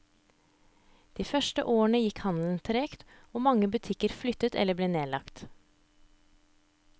De første årene gikk handelen tregt, og mange butikker flyttet eller ble nedlagt.